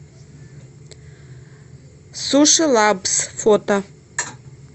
суши лабс фото